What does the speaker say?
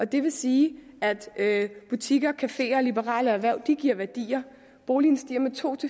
det vil sige at butikker cafeer og liberale erhverv giver værdier boligen stiger med to